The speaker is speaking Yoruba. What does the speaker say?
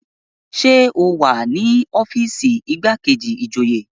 Ṣé o wà ní ọ́fíìsì igbákejì ìjòyè?